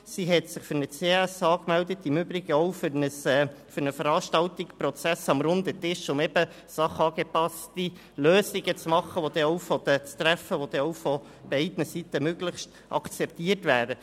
Sie hat sich für einen CASLehrgang angemeldet und im Übrigen auch für eine Veranstaltung «Prozesse am Runden Tisch», um sachangepasste Lösungen vorzulegen, die beim Zusammentreffen beider Seiten möglichst von diesen akzeptiert werden.